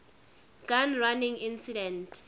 gun running incident